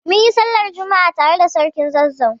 Munyi sallar juma'a tare da sarkin Zazzau